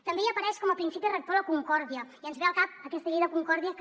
també hi apareix com a principi rector la concòrdia i ens ve al cap aquesta llei de concòrdia que